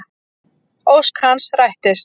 Ósk hans rættist.